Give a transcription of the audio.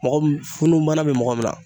Mɔgɔ min funun bana bɛ mɔgɔ min na